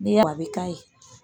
N'i y'a bi k'a ye